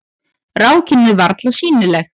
Rákin er varla sýnileg.